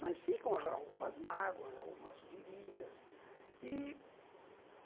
Mas ficam algumas mágoas, algumas feridas e